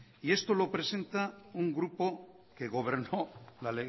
y esto lo presenta un grupo que gobernó